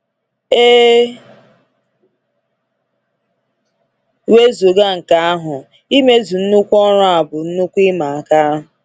E wezụga nke ahụ, imezu nnukwu ọrụ a bụ nnukwu ịma aka.